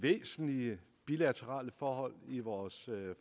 væsentlige bilaterale forhold i vores